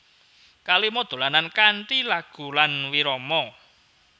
Kalima dolanan kanthi lagu lan wirama